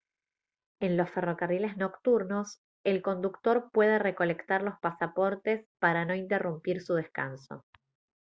en los ferrocarriles nocturnos el conductor puede recolectar los pasaportes para no interrumpir su descanso